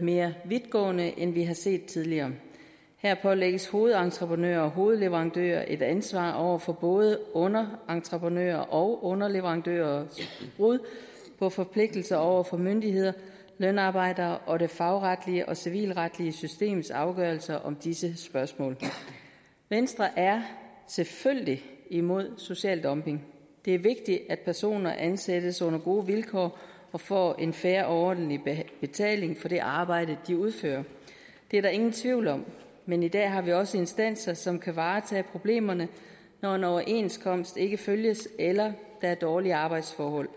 mere vidtgående end vi har set tidligere her pålægges hovedentreprenører og hovedleverandører et ansvar over for både underentreprenørers og underleverandørers brud på forpligtelser over for myndigheder lønarbejdere og det fagretlige og civilretlige systems afgørelse om disse spørgsmål venstre er selvfølgelig imod social dumping det er vigtigt at personer ansættes under gode vilkår og får en fair og ordentlig betaling for det arbejde de udfører det er der ingen tvivl om men i dag har vi også instanser som kan varetage problemerne når en overenskomst ikke følges eller der er dårlige arbejdsforhold